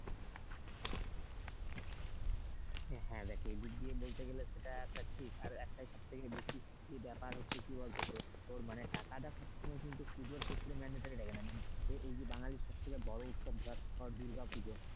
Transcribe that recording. হ্যাঁ দেখ এদিক দিয়ে বলতে গেলে সেটা একটা ঠিক আর একটা সব থেকে বেশি ব্যাপার হচ্ছে কি বলতো তোর মানে টাকাটা সব সময় কিন্তু পুজোর ক্ষেত্রে mandatory লাগে না। মানে এই যে বাঙালির সব থেকে বড় উৎসব ধর দুর্গাপুজো।